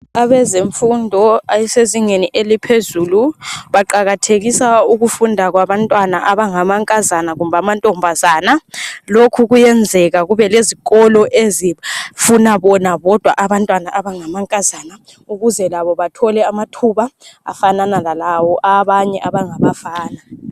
Abezemfundo abasezingeni eliphezulu baqakathekisa ukufunda kwabantwana abangamankazana kumbe amantombazana. Lokhu kuyenzeka kube lezikolo ezifuna bona bodwa abantwana abangamankazana ukuze labo bathole amathuba afanana lalawo abanye abangabafana.